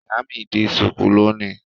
Ìyá mi di ṣùkú lónìí.